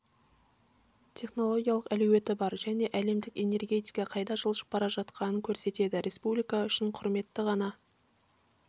технологиялық әлеуеті бар және әлемдік энергетика қайда жылжып бара жатқанын көрсетеді республика үшін құрметті ғана